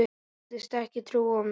Sagðist ekki trúa mér.